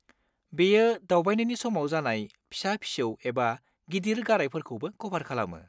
बेयो दावबायनायनि समाव जानाय फिसा-फिसौ एबा गिदिर गारायफोरखौबो क'भार खालामो।